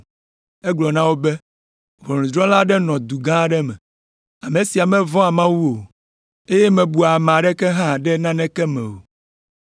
Egblɔ na wo be, “Ʋɔnudrɔ̃la aɖe nɔ du gã aɖe me. Ame sia mevɔ̃a Mawu o, eye mebua ame aɖeke hã ɖe naneke me o.